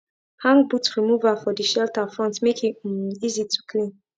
hang boot remover for de shelter front make e um easy to clean